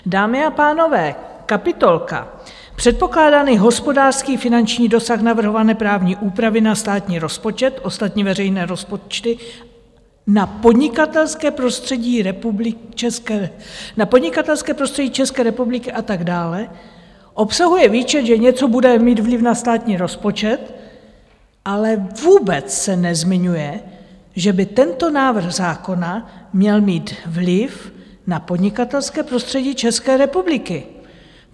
Dámy a pánové, kapitolka Předpokládaný hospodářský finanční dosah navrhované právní úpravy na státní rozpočet, ostatní veřejné rozpočty, na podnikatelské prostředí České republiky a tak dále obsahuje výčet, že něco bude mít vliv na státní rozpočet, ale vůbec se nezmiňuje, že by tento návrh zákona měl mít vliv na podnikatelské prostředí České republiky.